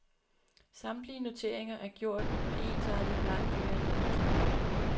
Samtlige noteringer er gjort med ensartet bleg blyant. punktum